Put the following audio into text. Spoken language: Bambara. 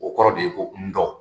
O kɔrɔ de ye ko ndɔ.